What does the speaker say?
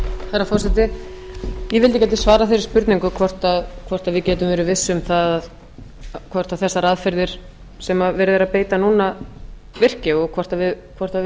að ég gæti svarað þeirri spurningu hvort við getum verið viss um það hvort þessar aðferðir sem verið er að beita núna virki og hvort við